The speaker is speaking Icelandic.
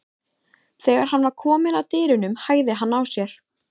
Þegar hann var kominn að dyrunum hægði hann á sér.